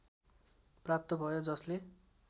प्राप्त भयो जसले